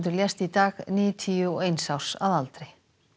lést í dag níutíu og eins árs að aldri